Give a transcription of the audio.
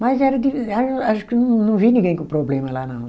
Mas era o de, a acho que não vi ninguém com problema lá, não.